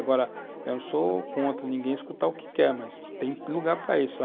Agora, eu não sou contra ninguém escutar o que quer, mas tem lugar para isso.